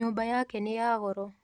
Nyũmba yake nĩ ya goro.